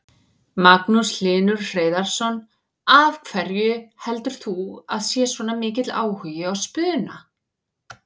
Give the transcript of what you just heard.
Magnús Hlynur Hreiðarsson: Af hverju heldur þú að sé svona mikill áhugi á spuna?